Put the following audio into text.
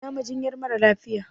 Ina majinyar mara lafiya?